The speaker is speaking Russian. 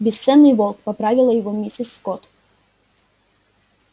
бесценный волк поправила его миссис скотт